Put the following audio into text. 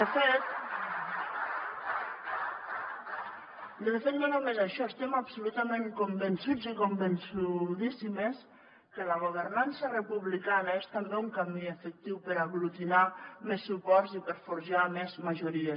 de fet no només això estem absolutament convençuts i convençudíssimes que la governança republicana és també un camí efectiu per aglutinar més suports i per forjar més majories